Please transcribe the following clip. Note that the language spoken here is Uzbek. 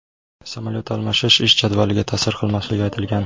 Samolyot almashish ish jadvaliga ta’sir qilmasligi aytilgan.